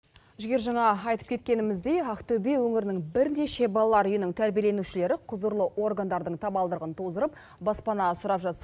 жігер жаңа айтып кеткеніміздей ақтөбе өңірінің бірнеше балалар үйінің тәрбиеленушілері құзырлы органдардың табалдырығын тоздырып баспана сұрап жатса